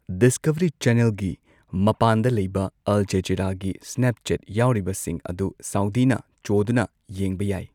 Discovery ꯆꯦꯅꯦꯜꯒꯤ ꯃꯄꯥꯟꯗ ꯂꯩꯕ ꯑꯜ ꯖꯖꯤꯔꯥꯒꯤ ꯁ꯭ꯅꯦꯞꯆꯦꯠ ꯌꯥꯎꯔꯤꯕꯁꯤꯡ ꯑꯗꯨ ꯁꯥꯎꯗꯤꯅ ꯆꯣꯗꯨꯅ ꯌꯦꯡꯕ ꯌꯥꯏ꯫